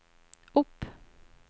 opp